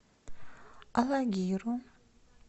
алагиру